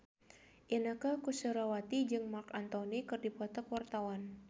Inneke Koesherawati jeung Marc Anthony keur dipoto ku wartawan